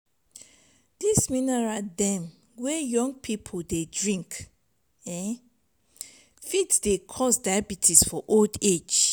dis mineral dem wey young pipu dey drink um fit dey cause diabetes for old age.